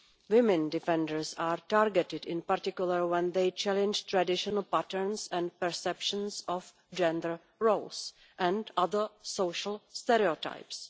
Women defenders are targeted, in particular, when they challenge traditional patterns and perceptions of gender roles and other social stereotypes.